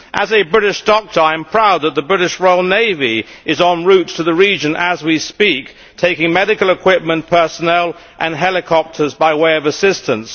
As a British doctor, I am proud that the British Royal Navy is en route to the region as we speak, taking medical equipment, personnel and helicopters by way of assistance.